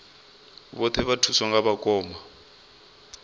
vhoṱhe vha thuswa nga vhakoma